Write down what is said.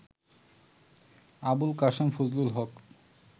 Abul Kashem Fazlul Haque